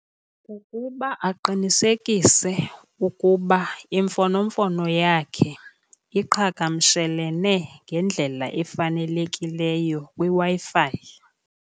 Kukuba aqinisekise ukuba imfonomfono yakhe iqhagamshelene ngendlela efanelekileyo kwiWi-Fi.